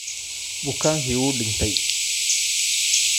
Bukaankii wuu dhintay.